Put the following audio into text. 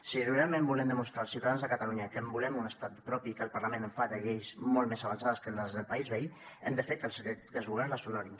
si realment volem demostrar als ciutadans de catalunya que volem un estat propi i que el parlament fa lleis molt més avançades que les del país veí hem de fer que els governs les honorin